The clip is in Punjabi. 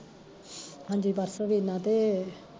ਹਾਂਜੀ ਪਰਸੋਂ ਵੀਨਾ ਤੇ